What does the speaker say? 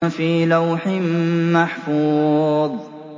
فِي لَوْحٍ مَّحْفُوظٍ